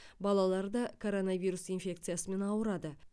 балалар да коронавирус инфекциясымен ауырады